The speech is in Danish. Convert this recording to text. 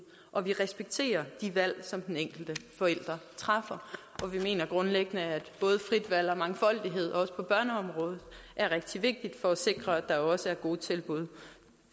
og vi respekterer de valg som den enkelte forælder træffer og vi mener grundlæggende at både frit valg og mangfoldighed også på børneområdet er rigtig vigtigt for at sikre at der også er gode tilbud